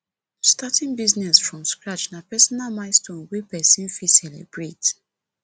starting business from scratch na personal milestone wey person fit celebrate